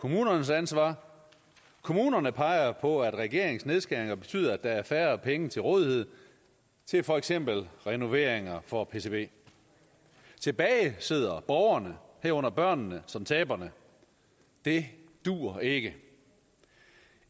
kommunernes ansvar kommunerne peger på at regeringens nedskæringer betyder at der er færre penge til rådighed til for eksempel renoveringer for pcb tilbage sidder borgerne herunder børnene som taberne det duer ikke